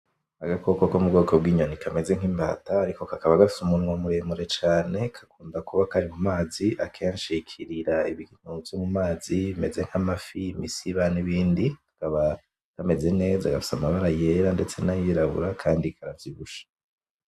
Agakoko ko mu bwoko bw'inyoni kameze nk'imbata ariko kakaba gafise umunwa muremure cane, gakunda kuba kari mu mazi, akenshi kirira ibintu vyo mu mazi bimeze nk'amafi; imisiba; n'ibindi, kakaba kameze neza, gafise amabara yera; ndetse n'ayirabura kandi karavyibushe.